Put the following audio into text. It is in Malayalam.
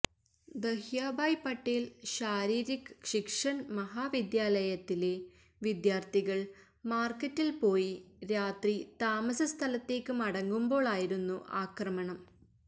ദഹ്യാഭായ് പട്ടേല് ശാരീരിക് ശിക്ഷണ് മഹാവിദ്യാലയയിലെ വിദ്യാര്ത്ഥികള് മാര്ക്കറ്റില് പോയി രാത്രി താമസ സ്ഥലത്തേയ്ക്ക് മടങ്ങുമ്പോളായിരുന്നു ആക്രമണം